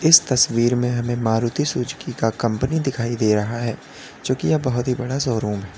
इस तस्वीर में हमें मारुति सुजुकी का कंपनी दिखाई दे रहा है जोकि यह बहुत ही बड़ा शोरूम है।